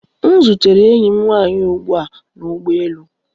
M zutere enyi m nwanyị ugbu a na ụgbọ elu